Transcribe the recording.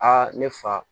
Aa ne fa